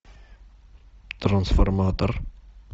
трансформатор